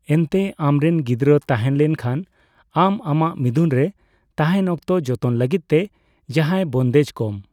ᱮᱱᱛᱮ ᱟᱢ ᱨᱮᱱ ᱜᱤᱫᱽᱨᱟᱹ ᱛᱟᱦᱮᱸ ᱞᱮᱱᱠᱷᱟᱱ, ᱟᱢ ᱟᱢᱟᱜ ᱢᱤᱫᱩᱱ ᱨᱮ ᱛᱟᱦᱮᱸᱱ ᱚᱠᱛᱚ ᱡᱚᱛᱚᱱ ᱞᱟᱹᱜᱤᱫ ᱛᱮ ᱡᱟᱦᱟᱸᱭ ᱵᱚᱱᱫᱮᱡ ᱠᱚᱢ ᱾